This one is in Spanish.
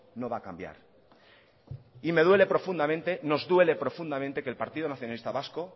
no va a cambiar nos duele profundamente que el partido nacionalista vasco